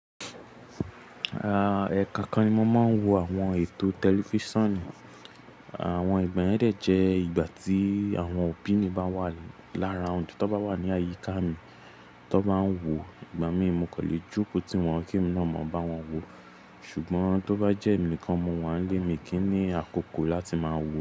À, ẹ̀kan kan ni mo máa ń wo àwọn ètò tẹlifíṣàn. Àwọn ìgbà mẹ́rẹ̀ẹ̀ jẹ́ ìgbà tí àwọn òbí mi bá wà lára oúnjẹ, tó bá wà ní àyíká mi tó bá ń wò, ìgbà mi mo kò lè joko tí wọ́n kì í mọ̀ ọ́n bá wọn wò. Ṣùgbọ́n tó bá jẹ́ emini kan, mo wà á lé mi kí n ní àkókò láti máa wò.